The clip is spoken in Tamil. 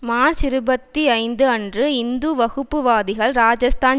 மார்ச் இருபத்தி ஐந்து அன்று இந்து வகுப்புவாதிகள் ராஜஸ்தான்